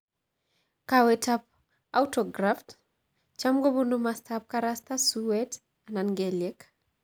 Kawet ap Autograft cham ko ponu mastap karasta, suwet , anan kelyek.